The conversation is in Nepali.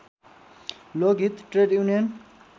Lokhit trade union